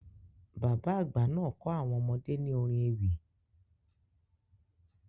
Bàbá àgbà náà kọ́ àwọn ọmọdé ní orin ewì.